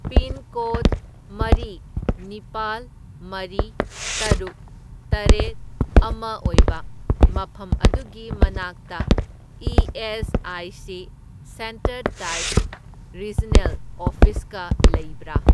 Pincode ꯃꯔꯤ, ꯅꯤꯄꯥꯜ, ꯃꯔꯤ, ꯇꯔꯨꯛ, ꯇꯔꯦꯠ, ꯑꯃ ꯑꯣꯏꯕ ꯃꯐꯝ ꯑꯗꯨꯒꯤ ꯃꯅꯥꯛꯇ ꯏ.ꯑꯦꯁ.ꯑꯥꯏ.ꯁꯤ. ꯁꯦꯟꯇꯔ ꯇꯥꯏꯞ ꯔꯤꯖꯅꯦꯜ ꯑꯣꯐꯤꯁꯀ ꯂꯩꯕ꯭ꯔꯥ?